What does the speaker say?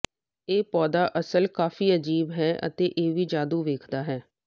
ਇਹ ਪੌਦਾ ਅਸਲ ਕਾਫ਼ੀ ਅਜੀਬ ਹੈ ਅਤੇ ਇਹ ਵੀ ਜਾਦੂ ਵੇਖਦਾ ਹੈ